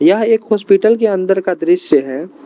यह एक हॉस्पिटल के अंदर का दृश्य है।